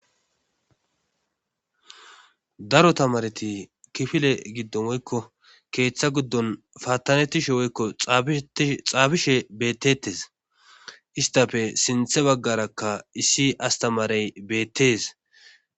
Daro tamareti kifile giddo moykko keeththa guddon paattanettishe woykko xaabishe bettettes istafe sinthe baggarakka issi astamarey beettes.